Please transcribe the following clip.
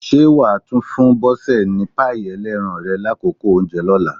Ṣé wà á tún fún Bọ́sẹ̀ ní páì ẹlẹ́ran rẹ lákòókò oúnjẹ lọ́la?